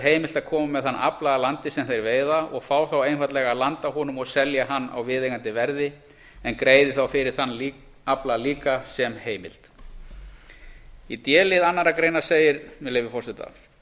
heimilt að koma með þann afla að landi sem þeir veiða og fá þá einfaldlega að landa honum og selja hann á viðeigandi verði en greiði þá fyrir þann afla líka sem heimild í d lið annarrar greinar segir með leyfi forseta d